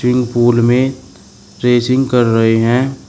Swimming pool में racing कर रहे हैं।